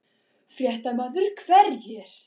Fréttamaður: Hverjir?